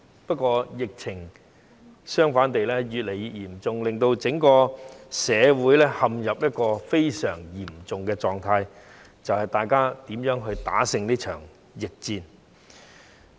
不過，疫情反而越來越嚴重，令整個社會陷入一個非常嚴重的狀態，大家要想辦法如何戰勝這場疫戰。